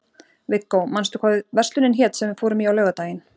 Viggó, manstu hvað verslunin hét sem við fórum í á laugardaginn?